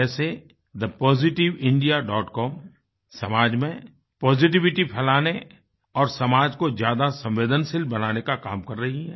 जैसे thepositiveindiacom समाज में पॉजिटिविटी फ़ैलाने और समाज को ज्यादा संवेदनशील बनाने का काम कर रही है